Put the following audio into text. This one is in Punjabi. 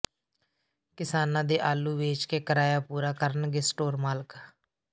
ਕਿਸਾਨਾ ਦੇ ਆਲੂ ਵੇਚ ਕੇ ਕਰਾਇਆ ਪੂਰਾ ਕਰਨਗੇ ਸਟੋਰ ਮਾਲਕ